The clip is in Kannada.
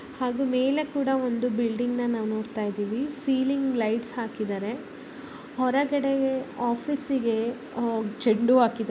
ಹಾಗು ಮೇಲೆ ಕೂಡ ಒಂದು ಬಿಲ್ಡಿಂಗ್ ನ ನಾವು ನೋಡತಾ ಇದೀವಿ ಸೀಲಿಂಗ್ ಲೈಟ್ಸ್ ಹಾಕಿದಾರೆ ಹೊರಗಡೆ ಆಫೀಸಿಗೆ ಹೋ ಚಂಡು ಹೂ ಹಾಕಿ--